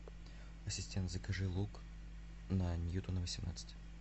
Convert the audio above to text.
ассистент закажи лук на ньютона восемнадцать